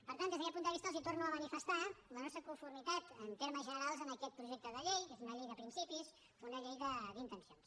per tant des d’aquest punt de vista els torno a manifestar la nostra conformitat en termes generals amb aquest projecte de llei que és una llei de principis una llei d’intencions